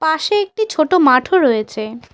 পাশে একটি ছোটো মাঠও রয়েছে।